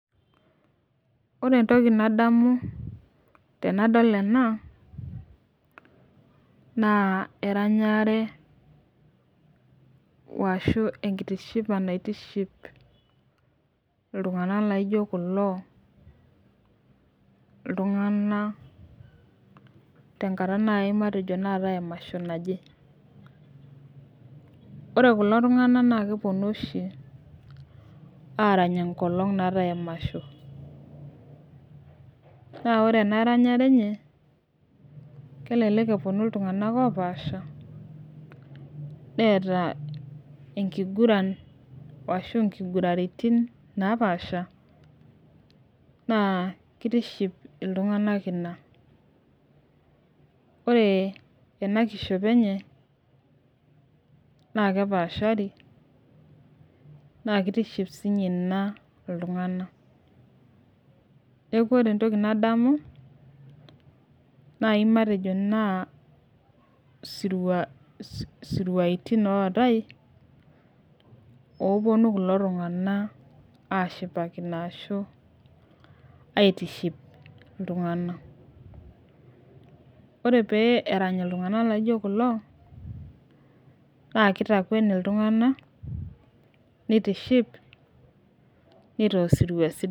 Ore ntokii nadamu tanadol ena naa eranyare arashu enkitishipa naitishiip ltung'ana naijoo kuloo ltung'ana te nkaata nae matejoo naaje emashoo najee. Ore kuloo ltung'ana naa keponuu oshii araanya enkolong' naetai emashoo. Naa ore ena ranyare enchee elelek eponuu ltung'ana loopasha etaa enkiguraan ashoo enkiguraritin loapasha naa keitiship ltung'ana enia. Ore ena kishopoo enye naa kepaashari naa keitiship shii inye ena ltung'ana. Naa ore ntokii nadamu naijii matejoo naa siruatin naetai poo oponuu kuloo ltung'ana ashipakinoo ashuu aitiship ltung'ana. Ore pee eraanyi ltung'na laijoo kuloo naa keitakweni oltung'ana loitiship etua siruatin.